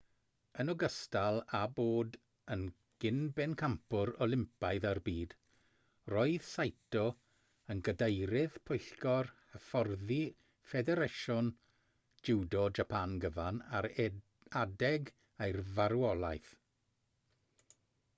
yn ogystal â bod yn gyn-bencampwr olympaidd a'r byd roedd saito yn gadeirydd pwyllgor hyfforddi ffederasiwn jiwdo japan gyfan ar adeg ei farwolaeth